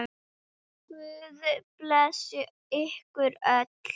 Guð blessi ykkur öll.